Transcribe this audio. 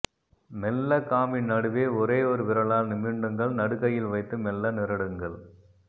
மெல்ல காம்பின் நடுவே ஒரேயோர் விரலால் நிமிண்டுங்கள் நடுக்கையில் வைத்து மெல்ல நிரடுங்கள்